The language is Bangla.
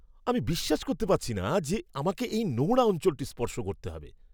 আমি বিশ্বাস করতে পারছি না যে, আমাকে এই নোংরা অঞ্চলটি স্পর্শ করতে হবে।